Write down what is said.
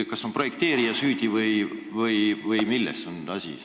Kas on projekteerija süüdi või milles on asi?